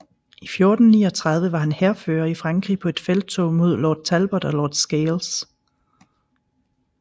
I 1439 var han hærfører i Frankrig på et felttog med Lord Talbot og Lord Scales